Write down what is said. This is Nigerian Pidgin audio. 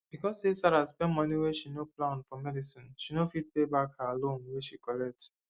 because say sarah spend moni wey she no plan for medicineshe no fit pay back her loan wey she collect